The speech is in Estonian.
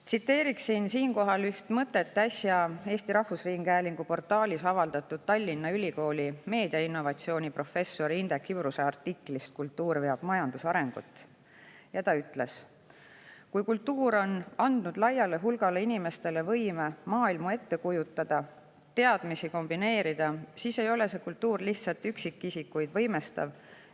Tsiteerin siinkohal üht mõtet äsja Eesti Rahvusringhäälingu portaalis avaldatud Tallinna Ülikooli meediainnovatsiooni professori Indrek Ibruse artiklist "Kultuur veab majanduse arengut", kus ta ütles: "Kui kultuur on andnud laiale hulgale inimestele võime maailma ette kujutada, teadmisi kombineerida, siis ei ole see kultuur lihtsat üksikisikuid võimestav.